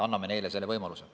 Anname neile selle võimaluse.